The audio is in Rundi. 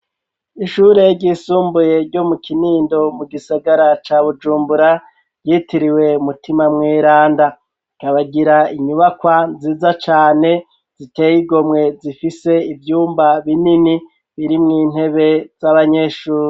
Ishure ryisumbuye ryo mu Kinindo mu gisagara ca Bujumbura ryitiriwe umutima mweranda rikagira inyubakwa nziza cane ziteye igomwe zifise ivyumba binini biri mw'intebe z'abanyeshuri.